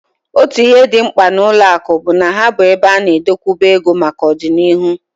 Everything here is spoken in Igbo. Otu ihe dị mkpa n'ụlọakụ bụ na ha bụ ebe a na-adokwuba ego maka ọdịnihu